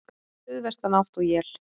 Stíf suðvestanátt og él